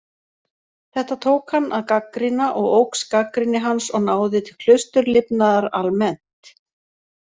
Þetta tók hann að gagnrýna og óx gagnrýni hans og náði til klausturlifnaðar almennt.